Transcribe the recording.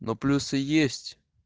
ну плюсы есть